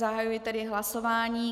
Zahajuji tedy hlasování.